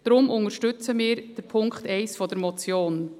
Darum unterstützen wir Punkt 1 der Motion.